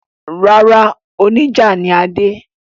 Rárá, oníjà ni Adé.